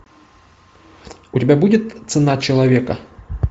у тебя будет цена человека